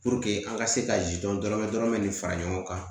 an ka se ka dɔrɔmɛ dɔrɔmɛ fara ɲɔgɔn kan